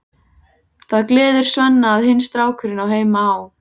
Það gleður Svenna að hinn strákurinn á heima á